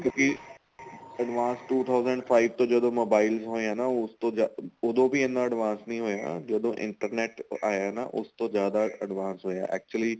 ਕਿਉਂਕਿ advance two thousand five ਤੋਂ ਜਦੋਂ mobile ਹੋਏ ਏ ਨਾ ਉਸ ਤੋਂ ਜਿਆਦਾ ਉਦੋਂ ਵੀ ਇੰਨਾ advance ਨੀਂ ਹੋਇਆ ਜਦੋਂ internet ਆਇਆ ਨਾ ਉਸ ਤੋਂ ਜਿਆਦਾ advance ਹੋਇਆ actually